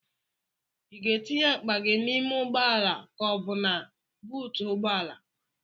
Ị ga-etinye akpa gị n'ime ụgbọala ka ọ bụ na buutu ụgbọala?